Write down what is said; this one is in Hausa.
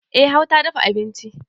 E har ta dafa abinci